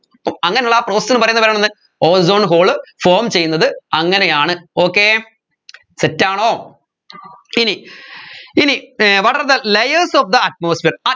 അങ്ങനെ ഉള്ള process നെ പറയുന്ന പേരാണ് എന്ത് ozone hole form ചെയ്യുന്നത് അങ്ങനെയാണ് okay set ആണോ ഇനി ഇനി uh what are the layers of the atmosphere